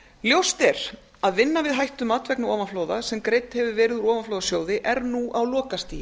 ljóst er að vinna við hættumat vegna ofanflóða sem greidd hefur verið úr ofanflóðasjóði er nú á lokastigi